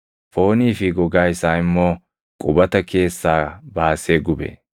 foonii fi gogaa isaa immoo qubata keessaa baasee gube.